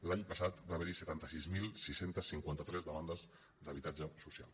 l’any passat va haver hi setanta sis mil sis cents i cinquanta tres demandes d’habitatge social